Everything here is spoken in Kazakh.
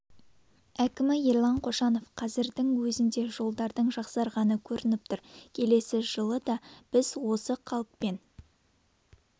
әкімі ерлан қошанов қазірдің өзінде жолдардың жақсарғаны көрініп тұр келесі жылы да біз осы қалыппен